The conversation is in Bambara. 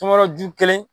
Tɔmɔ ju kelen